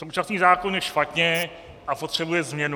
Současný zákon je špatně a potřebuje změnu.